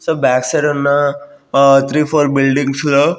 So back side ఉన్న ఆ three four buildings లో.